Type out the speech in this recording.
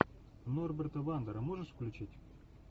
норберта вандера можешь включить